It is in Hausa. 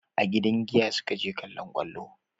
A gidan giya su ka je kallon kwallo